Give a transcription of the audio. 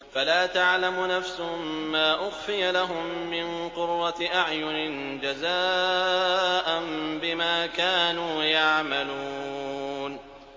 فَلَا تَعْلَمُ نَفْسٌ مَّا أُخْفِيَ لَهُم مِّن قُرَّةِ أَعْيُنٍ جَزَاءً بِمَا كَانُوا يَعْمَلُونَ